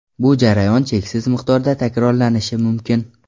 Bu jarayon cheksiz miqdorda takrorlanishi mumkin.